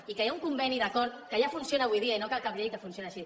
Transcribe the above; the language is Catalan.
i que hi ha un conveni d’acord que ja funciona avui dia i no cal cap llei que funciona així